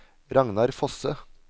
Ragnar Fosse